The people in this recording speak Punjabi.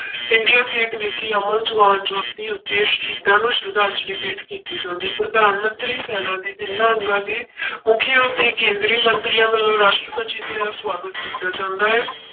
ਇੰਡੀਆ ਗੇਟ ਵਿਖੇ ਅਮਰ ਜਵਾਨ ਜੋਤੀ ਉੱਤੇ ਸ਼ਹੀਦਾਂ ਨੂੰ ਸਰਧਾਂਜਲੀ ਭੇਟ ਕੀਤੀ ਜਾਂਦੀ, ਪ੍ਰਧਾਨ ਮੰਤਰੀ ਸੈਨਾ ਦੇ ਤਿੰਨਾਂ ਅੰਗਾਂ ਦੇ ਮੁੱਖੀਆਂ ਅਤੇ ਕੇਂਦਰੀ ਮੰਤਰੀਆਂ ਵੱਲੋਂ ਰਾਸ਼ਟਰਪਤੀ ਜੀ ਦੀ ਸਵਾਗਤ ਕੀਤਾ ਜਾਂਦਾ ਹੈ।